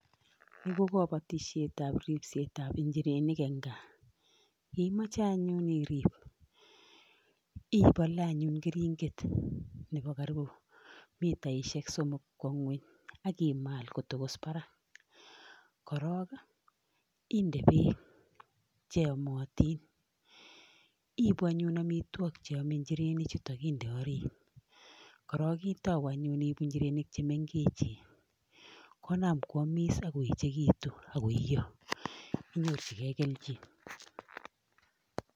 Ni ko kobotisietab ripsetab njirenik en gaa, ye imoche anyun irip ibolee anyun keringet nebo karibu mitaishek somok kwo ngweny ak imal kotogos barak. Korok ii, inde beek che yomotin, ibu any amitwogik chebo njirenichuto inde orit korok itauu any inde njirenik che mengechen konam koamis ak koechigitu ak koio inyorjige kelchin.